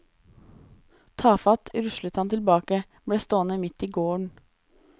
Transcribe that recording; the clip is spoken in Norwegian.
Tafatt ruslet han tilbake, ble stående midt i gården.